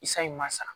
San in ma sa